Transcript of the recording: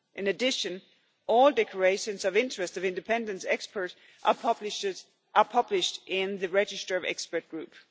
In addition, all declarations of interest of independent experts are published in the register of expert groups.